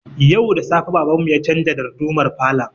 Yau da safe baban mu ya canza dardumar falon